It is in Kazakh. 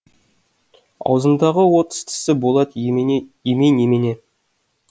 аузындағы отыз тісі болат емей немене